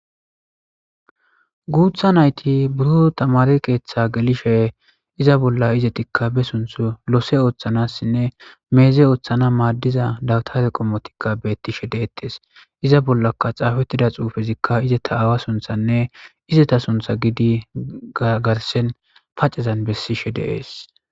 Guutha nayti buro tamari keeththa gelishe iza bolla izetikka be sunth loose ooththanassinne meeze ooththana maaddiza dawtare qommotikka beettishe deettes iza bollaka xaafettida xuufezikka izeta aawa sunthanne izeta suntha gidi garsen pacezan bessishe deees.